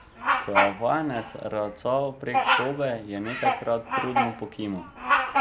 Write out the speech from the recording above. Ko je vajenec racal prek sobe, je nekajkrat trudno pokimal.